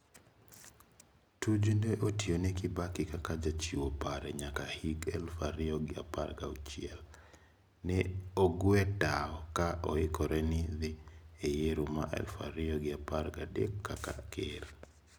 Tuju ne otione Kibaki kaka jachiwo pare nyaka hik eluf ario gi apar gachiel. Ne ogwe toa ka oikore ne dhi e yiero ma eluf ario gi apar gadek kaka ker.